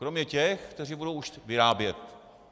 Kromě těch, kteří budou už vyrábět.